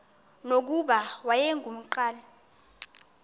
nokuba wayengu nqal